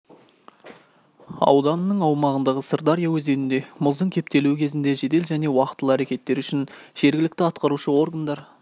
ауданының аумағындағы сырдария өзенінде мұздың кептелуі кезінде жедел және уақтылы әрекеттері үшін жергілікті атқарушы органдар